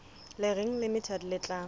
le reng limited le tla